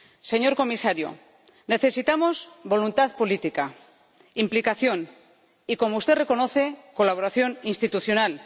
Señor Comisario, necesitamos voluntad política, implicación y, como usted reconoce, colaboración institucional.